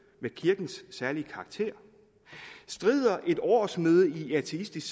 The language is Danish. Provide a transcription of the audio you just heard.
med kirkens særlige karakter strider et årsmøde i ateistisk